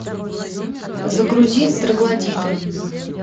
загрузи троглодиты